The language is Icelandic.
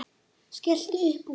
Skellti upp úr.